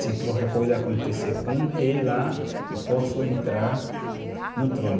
Se qualquer coisa acontecer com o rei lá, eu posso entrar no trono.